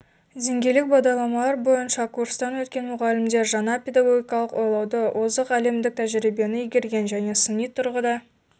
деңгейлік бағдарламалар бойынша курстан өткен мұғалімдер жаңа педагогикалық ойлауды озық әлемдік тәжірибені игерген және сыни тұрғыда